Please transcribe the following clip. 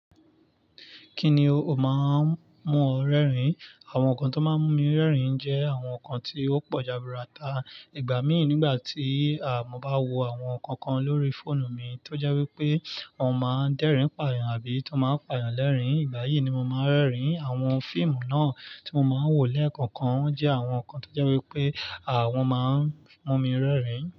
Kí ni ó máa ń mú ọ rẹ́rìn? Àwọn nǹkan tó máa ń mú mi rẹ́rìn jẹ́ àwọn nǹkan tí ó pọ̀ jaburata. Ìgbà míì nígbà tí mọ́ bá wo àwọn nǹkan kan lórí fóònù mi tó jẹ́ wí pé wọ́n máa ń dẹ́rìn pààyàn àbí tó n máa ń pààyàn lẹ́rìn. Ìgbà yìí ni mo máa ń rẹ́rìn. Àwọn fíìmù náà tí mo máa ń wò lẹ́ẹ̀kookan awọn nǹkan tó jẹ́ wí pé wọn máa ń mú mi rẹ́rìn.